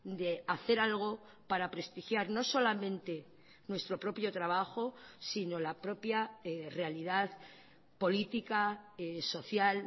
de hacer algo para prestigiar no solamente nuestro propio trabajo sino la propia realidad política social